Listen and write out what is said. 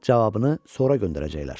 Cavabını sonra göndərəcəklər.